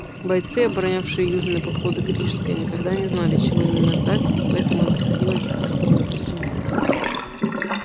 бойцы оборонявшие южные подходы к рижской никогда не знали чего именно ждать и потому им приходилось быть готовыми ко всему